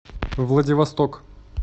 владивосток